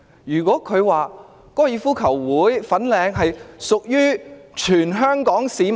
如果她說香港哥爾夫球會屬於全香港市民......